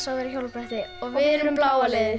að vera á hjólabretti og við erum bláa liðið